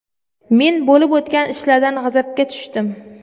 Men bo‘lib o‘tgan ishlardan g‘azabga tushdim.